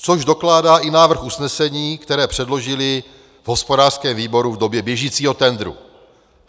Což dokládá i návrh usnesení, které předložili v hospodářském výboru v době běžícího tendru.